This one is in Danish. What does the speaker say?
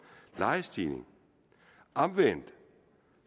lejestigning omvendt